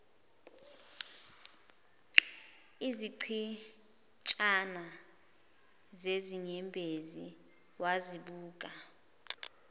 izichitshana zezinyembezi wazibuka